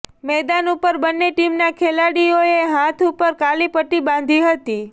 મેદાન ઉપર બંને ટીમના ખિલાડીઓએ હાથ ઉપર કાલી પટ્ટી બાંધી હતી